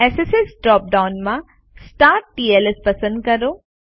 SSL drop ડાઉનમાં સ્ટાર્ટટલ્સ પસંદ કરો